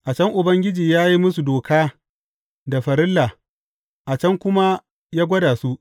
A can Ubangiji ya yi musu doka da farilla, a can kuma ya gwada su.